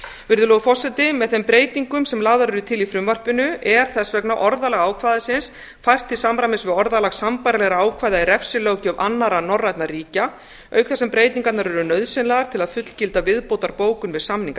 virðulegur forseti með þeim breytingum sem lagðar eru til í frumvarpinu er þess vegna orðalag ákvæðisins fært til samræmis við orðalag sambærilegra ákvæða í refsilöggjöf annarra norrænna ríkja auk þess sem breytingarnar eru nauðsynlegar til að fullgilda viðbótarbókun við samning